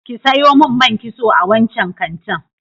Ki sayo man kitso a wancan kantin.